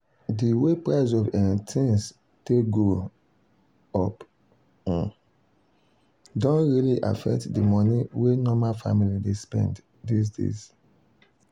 de way price of um things take go um up um don really affect de money wey normal family dey spend this days.